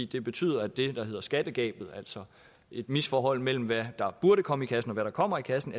det betyder at det der hedder skattegabet altså misforholdet mellem hvad der burde komme i kassen og hvad der kommer i kassen